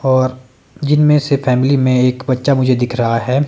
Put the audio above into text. और जिनमें से फैमिली में एक बच्चा मुझे दिख रहा है।